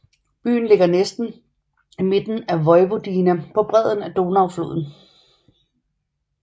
Byen ligger næsten i midten af Vojvodina på bredden af Donaufloden